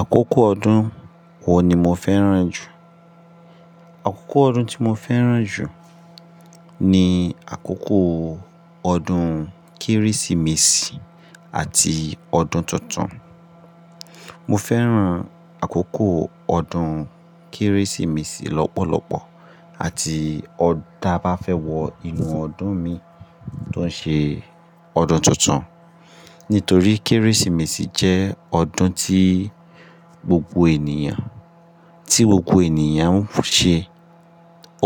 Àkókò ọdún wo ni mo fẹ́ràn jù? Àkókò ọdún tí mo fẹ́ràn jù ní àkókò ọdún Kérésìmesì àti ọdún tuntun. Mo fẹ́ràn àkókò ọdún Kérésìmesì lọ́pọ̀lọpọ̀ àti ọdá bá fẹ́ wọ inú ọdún mi tó ṣe ọdún tuntun. Nítorí Kérésìmesì jẹ́ ọdún tí gbogbo ènìyàn, tí gbogbo ènìyàn ń ṣe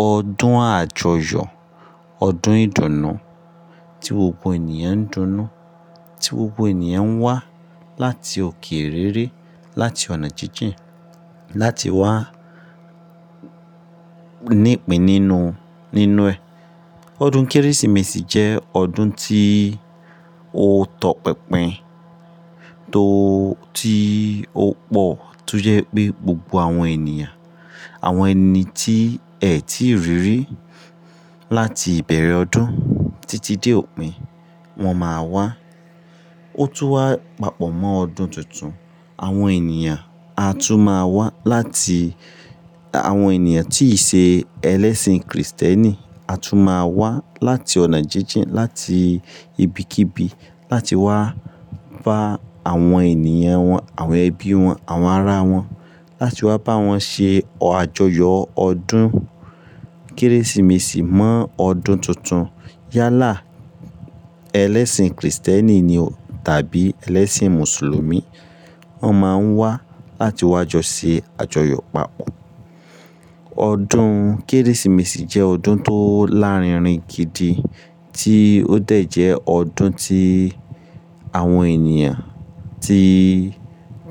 ọdún àjọyọ̀, ọdún ìdùnnú tí gbogbo ènìyàn ń dunnú, tí gbogbo ènìyàn ń wá láti òkè rere, láti ọ̀nà jíjìn láti wá nípin nínú, nínú ẹ. Ọdún Kérésìmesì jẹ́ ọdún tí ó tọ̀ pinpin to-- tí ó pọ̀ tó jẹ́ pé gbogbo àwọn ènìyàn, àwọn ẹni tí ẹ tí rí rí láti ìbẹ̀rẹ̀ ọdún títí dé òpin, wọn máa wá. Ó tún wá papọ̀ mọ́ ọdún tuntun. Àwọn ènìyàn a tún máa wá láti-- àwọn ènìyàn tí ṣe ẹlẹ́sìn kìrìsìtẹ́nì a tún máa wá láti ọ̀nà jíjìn, láti ibikíbi láti wá bá àwọn ènìyàn wọn, àwọn ẹbí wọn, àwọn ará wọn, láti wá bá wọn ṣe ájọyọ̀ ọdún Kérésìmesì mọ́ ọdún tuntun. Yálà ẹlẹ́sìn kìrìsìtẹ́nì ni o tàbí ẹlẹ́sìn mùsùlùmí, wọ́n máa ń wá láti wá jọ ṣe àjọyọ̀ papọ̀. Ọdún Kérésìmesì jẹ́ ọdún tó lárinrin gidi tí ó dẹ̀ jẹ́ ọdún tí àwọn ènìyàn tí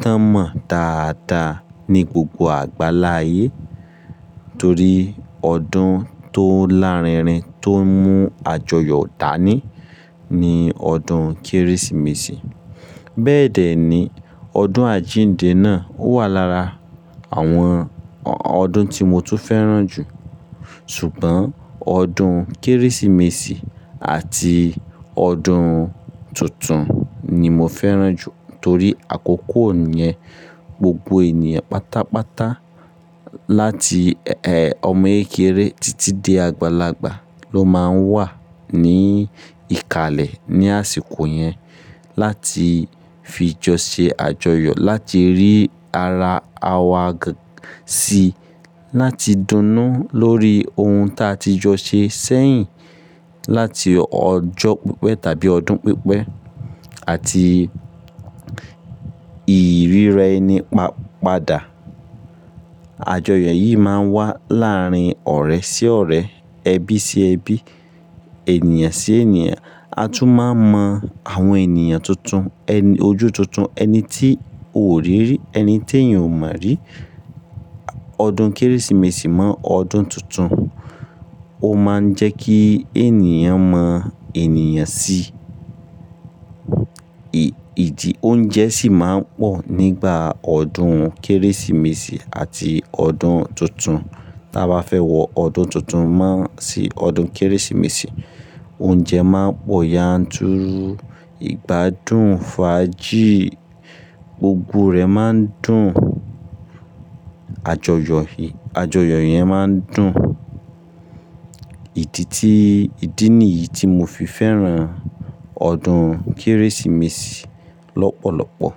tán mọ̀ dáadáa ní gbogbo àgbáláyé. Torí ọdún tó lárinrin tó mú àjọyọ̀ dání ni ọdún Kérésìmesì. Bẹ́ẹ̀dẹ̀ ni, ọdún àjíǹde náà ó wà lára àwọn ọdún tí mo tún fẹ́ràn jù. Ṣùgbọ́n ọdún Kérésìmesì àti ọdún tuntun ni mo fẹ́ràn jù torí àkókò yẹn gbogbo ènìyàn pátápátá láti, ẹ, ọmọ ẹyẹkẹrẹ títí dé àgbàlagbà ló máa ń wà ní ìkàlẹ̀ ní àsìkò yẹn láti fi jọ ṣe àjọyọ̀, láti rí ara wa g-si, láti dunnú lórí ohun ta ti jọ ṣe sẹ́yìn, láti ọjọ́ pípẹ́ tàbí ọdún pípẹ́ àti ìríra ẹni pa-padà. Àjọyọ̀ yìí máa ń wà láàrin ọ̀rẹ́ sí ọ̀rẹ́, ẹbí sí ẹbí, ènìyàn sí ènìyàn. A tún máa mọ àwọn ènìyàn tuntun, ẹni-- ojú tuntun, ẹni tí o ò rí rí, ẹni tí ẹ̀yin ò mọ̀ rí. Ọdún Kérésìmesì mọ́ ọdún tuntun, ó máa ń jẹ́ kí ènìyàn mọ ènìyàn si. I-ìdí oúnjẹ sì máa ń pọ̀ nígbà ọdún Kérésìmesì àti ọdún tuntun. Tà bá fẹ́ wọ ọdún tuntun máa sí ọdún Kérésìmesì, oúnjẹ máa ń pọ̀ yanturu. Ìgbádùn fàájì, gbogbo rẹ̀ máa ń dùn. Àjọyọ̀ yìí, àjọyọ̀ yẹn máa ń dùn. Ìdí tí, ìdí nìyí tí mo fi fẹ́ràn ọdún Kérésìmesì lọ́pọ̀lọpọ̀.